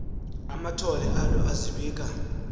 amathole alo azibika